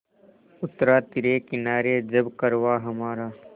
उतरा तिरे किनारे जब कारवाँ हमारा